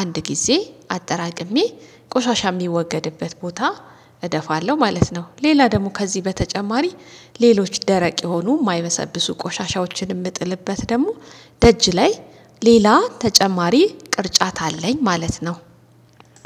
አንድ ጊዜ አጠራቅሜ ቆሻሻ የሚወገድበት ቦታ እደፋለሁ ማለት ነው። ሌላ ደግሞ ከዚህ በተጨማሪ ሌሎች ደረቅ የሆኑ የማይመሰብሱ ቆሻሻዎችን እምጥልበት ደግሞ ደጅ ላይ ሌላ ተጨማሪ ቅርጫት አለኝ ማለት ነው።